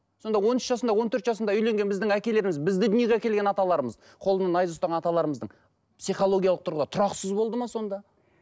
сонда он үш жасында он төрт жасында үйленген біздің әкелеріміз бізді дүниеге әкелген аталарымыз қолына найза ұстаған аталарымыздың психологиялық тұрғыда тұрақсыз болды ма сонда